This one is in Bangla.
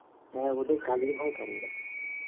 হ্যাঁ ওদের কালির ভয়ে করে ওরা